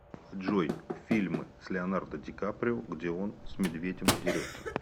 джой фильмы с леонардо дикаприо где он с медведем дерется